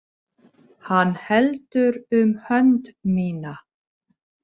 Hann heldur um hönd mína.